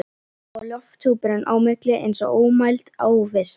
Og lofthjúpurinn á milli eins og ómæld óvissa.